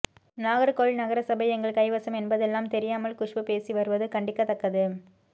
நாகர்கோவில் நகர சபை எங்கள் கைவசம் என்தெல்லாம் தெரியாமல் குஷ்பு பேசி வருவது கண்டிக்கத்தக்கது